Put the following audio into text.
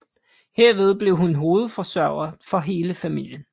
Herved blev hun hovedforsørger for hele familien